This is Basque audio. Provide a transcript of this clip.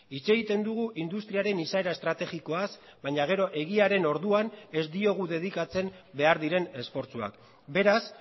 hitz egiten dugu industriaren izaera estrategikoaz baina gero egiaren orduan ez diogu dedikatzen behar diren esfortzuak beraz